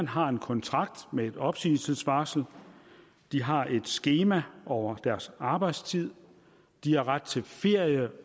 har en kontrakt med et opsigelsesvarsel de har et skema over deres arbejdstid de har ret til ferie